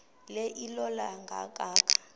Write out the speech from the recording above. le ilola kangaka